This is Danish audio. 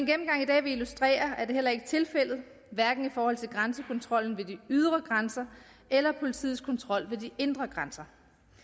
gennemgang i dag vil illustrere er det heller ikke tilfældet hverken i forhold til grænsekontrollen ved de ydre grænser eller politiets kontrol ved de indre grænser